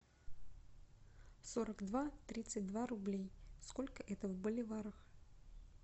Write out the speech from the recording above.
сорок два тридцать два рублей сколько это в боливарах